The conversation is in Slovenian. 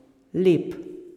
Lep.